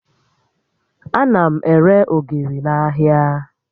Ana m ere ogiri n'ahịa